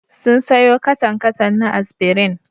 Sun sayo katan-katan na Aspirin.